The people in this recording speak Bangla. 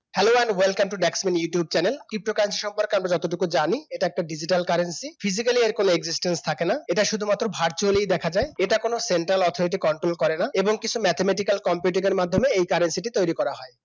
hello I'm welcome to back to my YouTube channel cryptocurrency সম্পর্কে আমি যতটুকু জানি এটা একটা digital curencyphysically এর কোন existenti থাকে না এটা শুধুমাত্র virtual এই দেখা যায় এটা কোন central authority control করেনা এবং কিছু mathematical competitor এর মাধ্যমে এই currency টি তৈরি করা হয়।